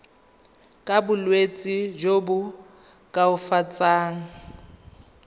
ka bolwetsi jo bo koafatsang